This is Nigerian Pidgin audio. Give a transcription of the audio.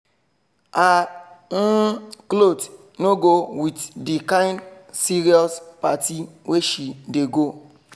her um cloth no go with the kind serious party wey she dey go